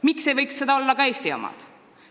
Miks ei võiks seda olla ka Eesti omad?